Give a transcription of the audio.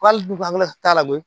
K'ale dun an kɛlen ka k'a lamini